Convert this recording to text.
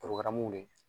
ye